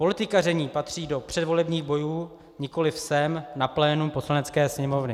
Politikaření patří do předvolebních bojů, nikoliv sem na plénum Poslanecké sněmovny.